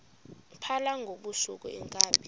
phala ngobusuku iinkabi